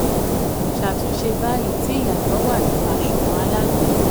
12. ṣàtúnṣe báyìí tí ìyàtọ̀ wà nínú àsunwon alágbèéró.